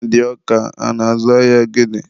ndị ọka a na-azụ ahịa gịnị?